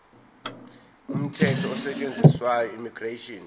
umthetho osetshenziswayo immigration